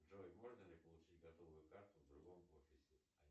джой можно ли получить готовую карту в другом офисе